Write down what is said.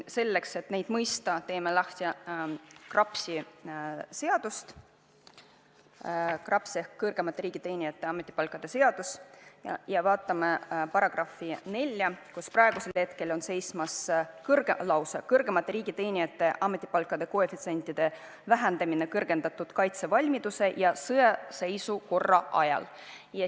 Selleks, et neid mõista, teeme lahti KRAPS-i – KRAPS ehk kõrgemate riigiteenijate ametipalkade seadus – ja vaatame § 41, mille pealkiri on "Kõrgemate riigiteenijate ametipalkade koefitsientide vähendamine kõrgendatud kaitsevalmiduse ja sõjaseisukorra ajal".